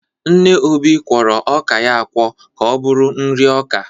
Nne Obi kwọrọ ọka ya akwọ ka ọ bụrụ nri ọka.